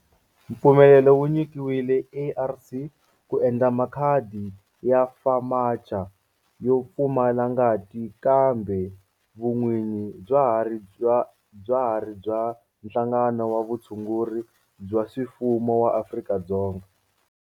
Mpfumelelo wu nyikiwile ARC ku endla makhadi ya FAMACHA yo pfumala ngati kambe vun'winyi bya ha ri bya Nhlangano wa Vutshunguri bya swifuwo wa Afrika-Dzonga.